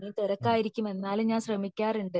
ഇവിടെ തിരക്കായിരിക്കും എന്നാലും ഞാൻ ശ്രെമിക്കാറുണ്ട്